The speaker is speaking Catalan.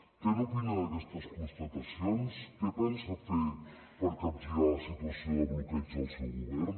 què opina d’aquestes constatacions què pensa fer per capgirar la situació de bloqueig del seu govern